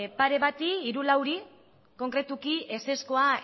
pare bati hiru edo lauri konkretuki ezezkoa